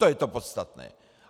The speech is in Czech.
To je to podstatné.